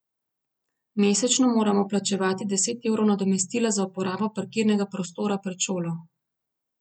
Mesečno moramo plačevati deset evrov nadomestila za uporabo parkirnega prostora pred šolo.